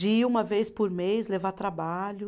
De ir uma vez por mês, levar trabalho.